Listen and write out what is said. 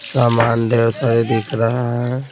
सामान ढेर सारे दिख रहा है।